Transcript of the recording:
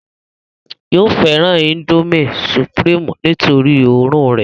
yóò fẹ́ràn índómì sùpìrímù nítorí òórùn rẹ̀